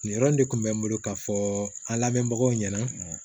Nin yɔrɔ in de kun bɛ n bolo ka fɔ an lamɛnbagaw ɲɛna